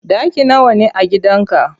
Ɗaki nawa ne a gidan ka?